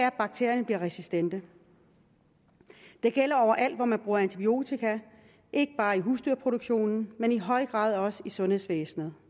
at bakterierne bliver resistente det gælder overalt hvor man bruger antibiotika ikke bare i husdyrproduktionen men i høj grad også i sundhedsvæsenet